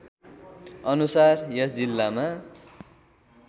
अनुसार यस जिल्लामा